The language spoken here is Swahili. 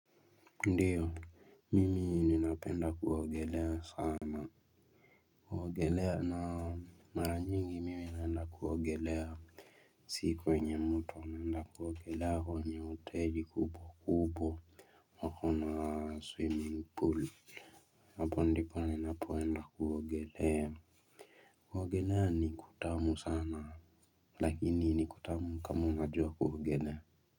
Ndiyo, mimi ninape nda kuogelea sana. Kuogelea na mara nyingi mimi naenda kuogelea. Siku yenye moto naenda kuogelea kwenye hoteli kubwa kubwa. Wako na swimming pool hapo ndipo ninapo enda kuogelea. Kuogelea ni kutamu sana lakini ni kutamu kama unajua kuogelea.